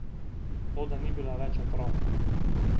Toda ni bila več otrok.